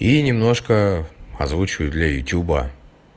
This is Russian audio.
и немножко озвучиваю для ютюба